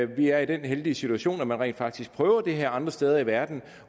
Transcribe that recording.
vi er i den heldige situation at man rent faktisk prøver det her andre steder i verden